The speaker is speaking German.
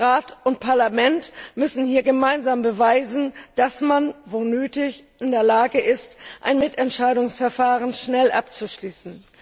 Rat und Parlament müssen hier gemeinsam beweisen, dass man, wo nötig, in der Lage ist, ein Mitentscheidungsverfahren schnell abzuschließen.